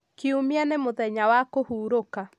kiumia nĩ mũthenya wa kũhurũka